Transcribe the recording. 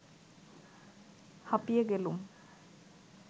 হাঁপিয়ে গেলুম